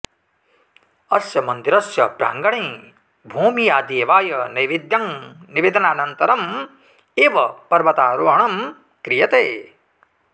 अस्य मन्दिरस्य प्राङ्गणे भोमियादेवाय नैवेद्यं निवेदनानन्तरम् एव पर्वतारोहणं क्रियते